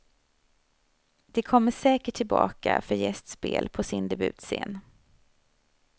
De kommer säkert tillbaka för gästspel på sin debutscen.